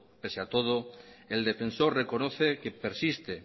pese a todo el defensor reconoce que persiste